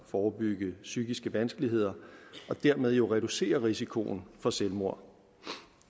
forebygge psykiske vanskeligheder og dermed jo reducere risikoen for selvmord